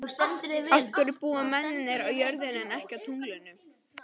Af hverju búa mennirnir á jörðinni en ekki á tunglinu?